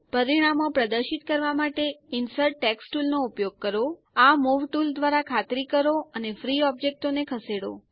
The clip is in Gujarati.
પરિણામો પ્રદર્શિત કરવા માટે ઇન્સર્ટ ટેક્સ્ટ ટુલ નો ઉપયોગ કરો આ મૂવ ટુલ દ્વારા ખાતરી કરો અને ફ્રી ઓબ્જેક્ટો ને ખસેડો